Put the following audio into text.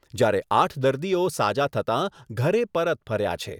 જ્યારે આઠ દર્દીઓ સાજા થતાં ઘરે પરત ફર્યા છે.